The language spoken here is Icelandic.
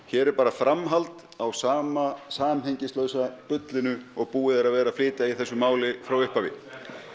hér er bara framhald á sama samhengislausa bullinu og búið er að vera að flytja í þessu máli frá upphafi